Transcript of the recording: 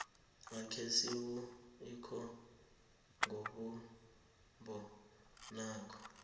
akhe sibumbe ikomo ngombumbo naku